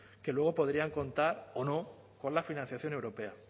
que luego podrían contar o no con la financiación europea